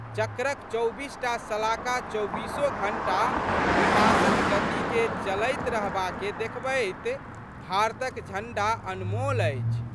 चक्रक चौबीस टा शलाका चौबीसो घंटा विकासक गतिके चलैत रहबाके देखबैत भारतक झंडा अनमोल अछि।